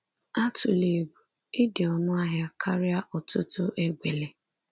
Atụla egwu, ị dị ọnụahịa karịa ọtụtụ egwele.